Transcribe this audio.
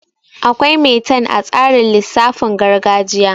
Akwai metan a tsarin lisaafin gargajiya